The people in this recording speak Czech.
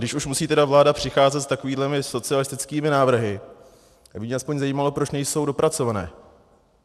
Když už musí tedy vláda přicházet s takovými socialistickými návrhy, tak by mě aspoň zajímalo, proč nejsou dopracované.